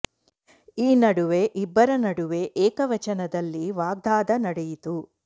ಈ ನಡುವೆ ಇಬ್ಬರ ನಡುವೆ ಏಕ ವಚನದಲ್ಲಿ ವಾಗ್ಧಾದ ನಡೆಯಿತು